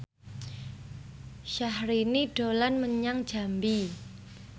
Syahrini dolan menyang Jambi